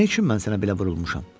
Nə üçün mən sənə belə vurulmuşam?